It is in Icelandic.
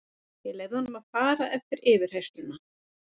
Ég leyfði honum að fara eftir yfirheyrsluna.